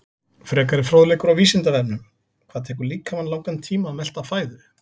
Frekari fróðleikur á Vísindavefnum: Hvað tekur líkamann langan tíma að melta fæðu?